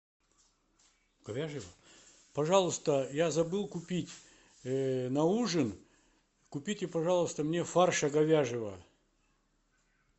пожалуйста я забыл купить на ужин купите пожалуйста мне фарша говяжьего